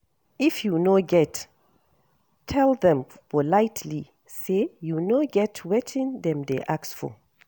If you no get, tell them politely sey you no get wetin dem dey ask for